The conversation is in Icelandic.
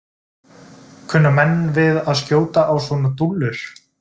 Kunna menn við að skjóta á svona dúllur?